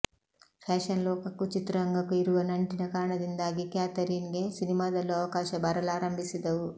fashion ಲೋಕಕ್ಕೂ ಚಿತ್ರರಂಗಕ್ಕೂ ಇರುವ ನಂಟಿನ ಕಾರಣದಿಂದಾಗಿ ಕ್ಯಾಥರೀನ್ಗೆ ಸಿನಿಮಾದಲ್ಲೂ ಅವಕಾಶಗಳು ಬರಲಾರಂಭಿಸಿದವು